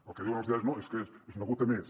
el que diuen els diaris no és que és una gota més